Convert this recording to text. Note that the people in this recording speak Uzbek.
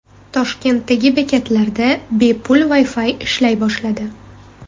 Toshkentdagi bekatlarda bepul Wi-Fi ishlay boshladi.